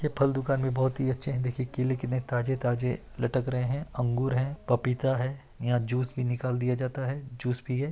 ये फल दुकान भी बहुत ही अच्छे है देखिए केले कितने ताजे ताजे लटक रहे है अंगूर है पपीता है यहाँ जूस भी निकाल दिया जाता है जूस पिये --